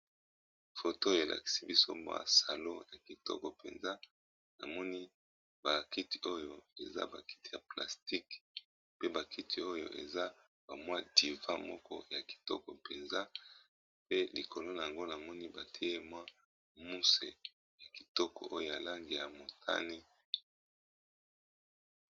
Photo elakisi biso mwa salon, salon yango ezali na ba kiti moko ya kitoko penza